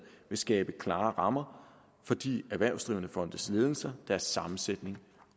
vil skabe klare rammer for de erhvervsdrivende fondes ledelser deres sammensætning